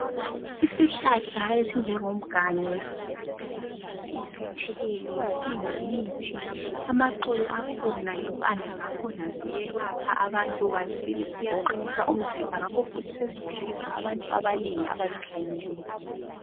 Isihlahla esinjengo mganu, siyikudla, siyisithelo ,siyimithi, amaxolo akhona lempande zakhona ziyelapha abantu basile siyaqinisa umzimba ngakho futhi sesiphilisa abantu abanengi abazihlanyelileyo